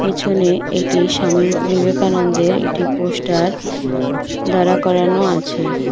পিছনে একটি স্বামী বি বিবেকানন্দের একটি পোস্টার দাঁড়া করানো আছে।